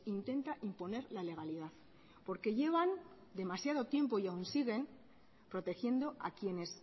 intenta imponer la legalidad porque llevan demasiado tiempo y aún siguen protegiendo a quienes